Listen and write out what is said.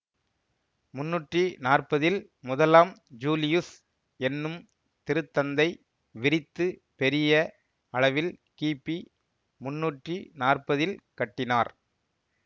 முன்னூற்றி நாற்பதில் முதலாம் ஜூலியுஸ் என்னும் திருத்தந்தை விரித்து பெரிய அளவில் கிபி முன்னூற்றி நாற்பதில் கட்டினார்